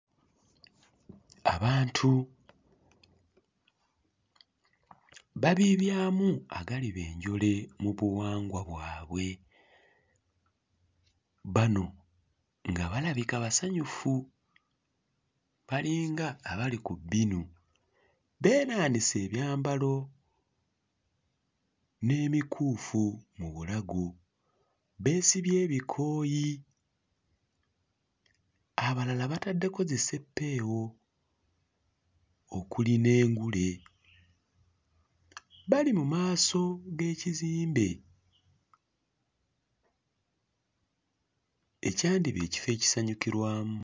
Abantu babiibyamu agaliba enjole mu buwangwa bwabwe. Bano nga balabika basanyufu balinga abali ku bbinu beenaanise ebyambalo n'emikuufu mu bulago, beesibye ebikooyi, abalala bataddeko zisseppeewo okuli n'engule, bali mu maaso g'ekizimbe ekyandiba ekifo ekisanyukirwamu.